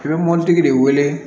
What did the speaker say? I bɛ mɔbilitigi de wele